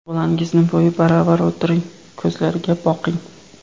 Bolangizni bo‘yi baravar o‘tiring, ko‘zlariga boqing.